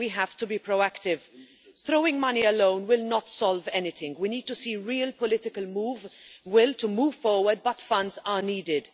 We have to be proactive throwing money alone will not solve anything. We need to see real political will to move forward but funds are needed.